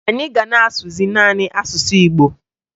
Anyị ga na-asụzị naanị asụsụ Igbo